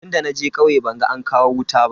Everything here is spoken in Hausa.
Tunda naje kauye ban ga an kawo wuta ba.